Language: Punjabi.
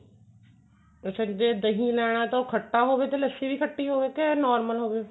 ਅੱਛਾ ਜੇ ਦਹੀਂ ਲੈਣਾ ਤਾਂ ਉਹ ਖੱਟਾ ਹੋਵੇ ਤੇ ਲੱਸੀ ਵੀ ਖੱਟੀ ਹੋਵੇ ਕੇ normal ਹੋਵੇ